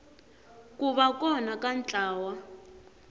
ku va kona ka ntlawa